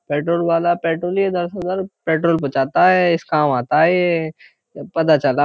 petrol वाला petrol ही इधर से उधर पेट्रोल पहुंचाता है इस काम आता है यह पता चला --